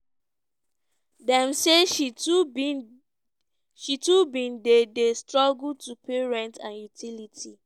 dem say she too bin dey dey struggle to pay rent and utility.